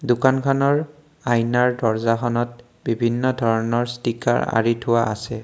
দোকানখনৰ আইনাৰ দৰ্জাখনত বিভিন্ন ধৰণৰ ষ্টিকাৰ আঁৰি থোৱা আছে।